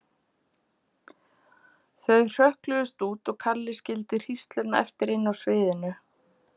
Þau hrökkluðust út og Kalli skildi hrísluna eftir inni á sviðinu.